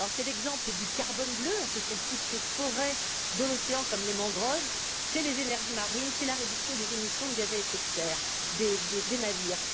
C'est l'exemple du carbone bleu, ce sont toutes ces forêts de l'océan comme les mangroves, ce sont les énergies marines, c'est la réduction des émissions de gaz à effet de serre des navires.